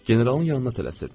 Generalın yanına tələsirdim.